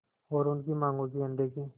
और उनकी मांगों की अनदेखी